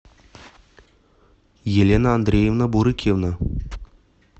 елена андреевна бурыкина